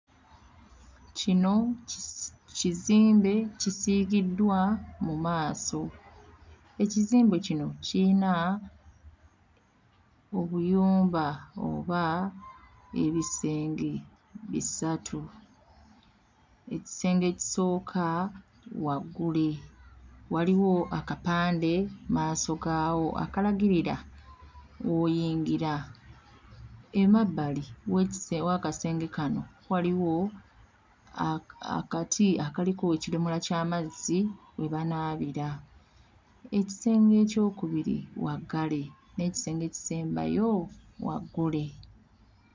Kino kisi... kizimbe kisiigiddwa mu maaso. Ekizimbe kino kiyina obuyumba oba ebisenge bisatu. Ekisenge ekisooka waggule, waliwo akapande akapande mmaaso gaawo akalagirira w'oyingira, emabbali w'ekise... w'akasenge kano waliwo akati akaliko ekidomola ky'amazzi we banaabira. Ekisenge eky'okubiri waggale, n'ekisenge ekisembayo waggule.